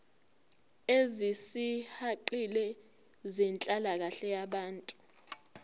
ezisihaqile zenhlalakahle yabantu